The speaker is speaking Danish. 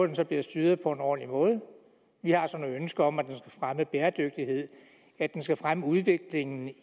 den så bliver styret på en ordentlig måde vi har så nogle ønsker om at den skal fremme bæredygtighed at den skal fremme udviklingen